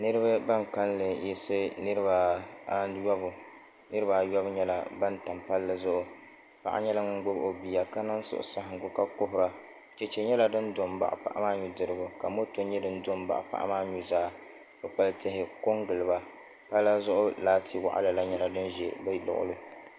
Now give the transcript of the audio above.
Niraba ban kanli yiɣisi niraba ayobu nyɛla ban tam palli zuɣu paɣa nyɛla ŋun gbubi o bia ka niŋ suhusaɣangu ka kuhura chɛchɛ nyɛla din do n baɣa paɣa maa nudirigu ka moto nyɛ din do n baɣa paɣa maa nuzaa kpukpali tihi ko n giliba pala zuɣu laati waɣala la nyɛla din ʒɛ bi luɣuli